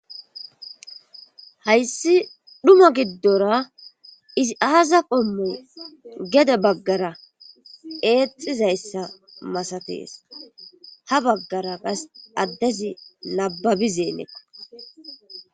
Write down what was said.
hayssi dhuma giddora izi aaza qommoy gede baggara eexxizayssa masatees ha baggara qas addezi nababizeennekko